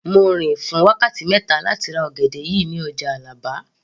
Mo rìn fún wákàtí mẹ́ta láti ra ọ̀gẹ̀dẹ̀ yìí ní ọjà Àlàbá